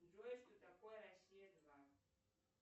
джой что такое россия два